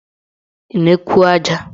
Tinyekwuo aja!